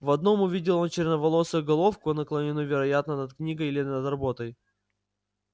в одном увидел он черноволосую головку наклонённую вероятно над книгой или над работой